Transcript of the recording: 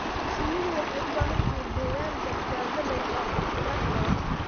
Shinnidu waxay u baahan tahay deegaan badbaado leh oo caafimaad qaba.